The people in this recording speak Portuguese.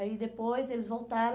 Aí depois eles voltaram.